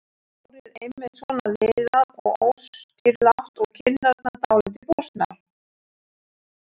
Hárið einmitt svona liðað og óstýrilátt og kinnarnar dálítið bústnar.